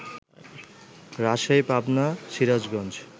Rajshahi, Pabna, Sirajganj